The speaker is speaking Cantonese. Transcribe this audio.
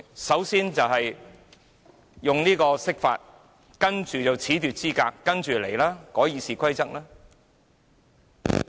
首先是釋法，接着是褫奪議員資格，之後便是修改《議事規則》。